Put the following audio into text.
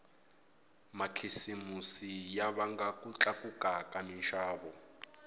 makhisimusi ya vanga ku tlakuka ka minxavo